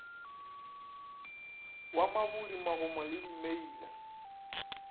wa mabudi magomo le dimeila